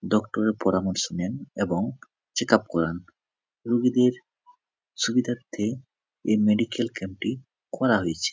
ডক্টরের এর পরামর্শ নেন এবং চেক আপ করান রোগীদের সুবিধার্তে এই মেডিকেল ক্যাম্প টি করা হয়েছে।